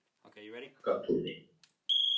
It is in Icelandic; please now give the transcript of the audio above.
Bakkatúni